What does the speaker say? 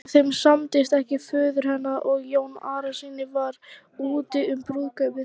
Ef þeim samdist ekki föður hennar og Jóni Arasyni var úti um brúðkaupið.